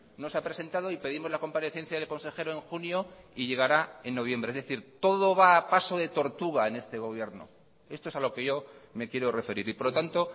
no se ha presentado y pedimos la comparecencia del consejero en junio y llegará en noviembre es decir todo va a paso de tortuga en este gobierno esto es a lo que yo me quiero referir y por lo tanto